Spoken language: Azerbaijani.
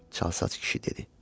Çalsaç kişi dedi.